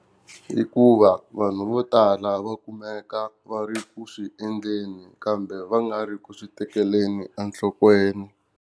Hikuva vanhu vo tala va kumeka va ri ku swi endleni kambe va nga ri ku swi tekeleni enhlokweni.